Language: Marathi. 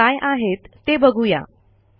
त्या काय आहेत ते बघू या